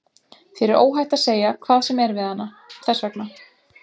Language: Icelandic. Þér er óhætt að segja hvað sem er við hana, þess vegna.